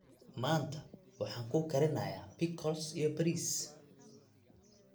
Maanta waxaan kuu karinayaa pickles iyo bariis.